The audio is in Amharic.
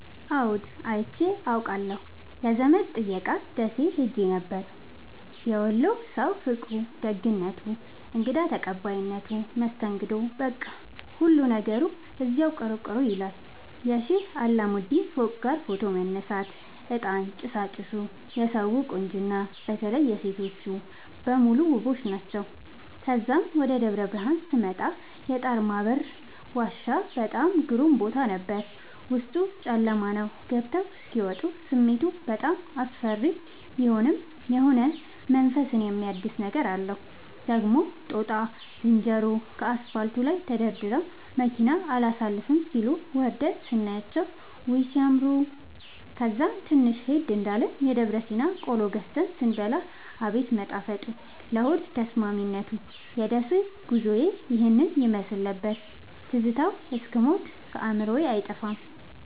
አዎድ አይቼ አቃለሁ ለዘመድ ጥየቃ ደሴ ኸሄ ነበር። የወሎ ሠዉ ፍቅሩ፣ ደግነቱ፣ እንግዳ ተቀባይነቱ መስተንግዶዉ በቃ ሁሉ ነገሩ እዚያዉ ቅሩ ቅሩ ይላል። የሼህ አላሙዲን ፎቅጋ ፎቶ መነሳት፤ እጣን ጭሣጭሡ የሠዉ ቁንጅና በተለይ ሤቶቹ በሙሉ ዉቦች ናቸዉ። ተዛም ወደ ደብረብርሀን ስመጣ የጣርማበር ዋሻ በጣም ግሩም ቦታ ነበር፤ ዉስጡ ጨለማ ነዉ ገብተዉ እስኪ ወጡ ስሜቱ በጣም አስፈሪ ቢሆንም የሆነ መንፈስን የሚያድስ ነገር አለዉ። ደግሞ ጦጣ ዝንሮዎቹ ከአስፓልቱ ላይ ተደርድረዉ መኪና አላሣልፍም ሢሉ፤ ወርደን ስናያቸዉ ዉይ! ሢያምሩ። ከዛም ትንሽ ሄድ እንዳልን የደብረሲና ቆሎ ገዝተን ስንበላ አቤት መጣፈጡ ለሆድ ተስማሚነቱ። የደሴ ጉዞዬ ይህን ይመሥል ነበር። ትዝታዉ እስክ ሞት ከአዕምሮየ አይጠፋም።